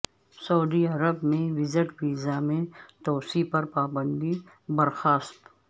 سعودی عرب میں visit visa میں توسیع پر پابندی برخاست